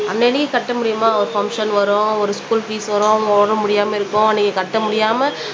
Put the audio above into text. அன்னன்னைக்கு கட்ட முடியுமா ஒரு பங்க்சன் வரும் ஒரு ஸ்கூல் பீஸ் வரும் உடம்பு முடியாம இருக்கும் அன்னைக்கு கட்ட முடியாம